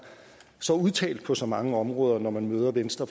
så udtalt på så mange områder når man møder venstre